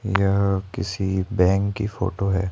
यहां किसी बैंक की फोटो है।